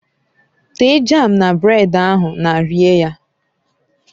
Tee jam na bred ahụ na rie ya